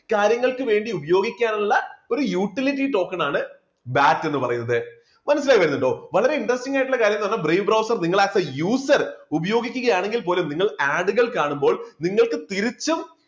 കാര്യങ്ങൾക്കു വേണ്ടി ഉപയോഗിക്കാനുള്ള ഒരു utility token ആണ് BAT ന്നു പറയുന്നത്, മനസ്സിലായി വരുന്നുണ്ടോ? വളരെ interesting ആയിട്ടുള്ള കാര്യമെന്ന് പറയുന്നത് brave browser നിങ്ങൾ ആയിട്ടുള്ള user ഉപയോഗിക്കുക ആണെങ്കിൽ പോലും നിങ്ങൾ add കൾ കാണുമ്പോൾ നിങ്ങൾക്ക് തിരിച്ചും